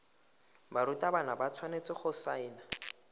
barutwana ba tshwanetse go saena